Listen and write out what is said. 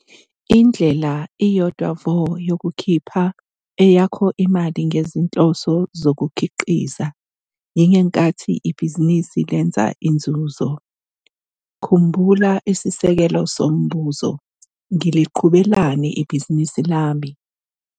Indlela iyodwa vo yokukhipha eyakho imali ngezinhloso zokukhiqiza yingenkathi ibhizinisi lenza inzuzo. Khumbula isisekelo sombuzo - ngiliqhubelani ibhizinisi lami?